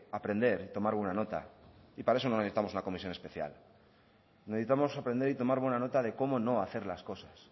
aprender y tomar buena nota y para eso no necesitamos una comisión especial necesitamos aprender y tomar buena nota de cómo no hacer las cosas